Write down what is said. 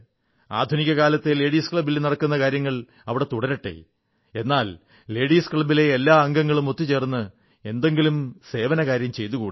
ആധുനിക കാലത്തെ ലേഡീസ് ക്ലബ്ബിൽ നടക്കുന്ന കാര്യങ്ങൾ അവിടെ തുടരട്ടെ എന്നാൽ ലേഡിസ് ക്ലബ്ബിലെ എല്ലാ അംഗങ്ങളും ഒത്തുചേർന്ന് എന്തെങ്കിലും സേവനകാര്യം ചെയ്തുകൂടേ